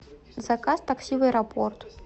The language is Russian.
заказ такси в аэропорт